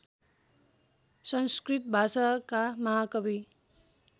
संस्कृत भाषाका महाकवि